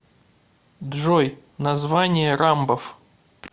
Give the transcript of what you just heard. джой название рамбов